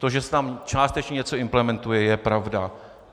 To, že se tam částečně něco implementuje, je pravda.